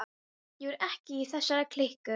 Ég var ekki í þessari klíku.